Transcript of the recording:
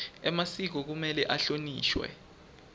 emasiko kumele ahlonishwe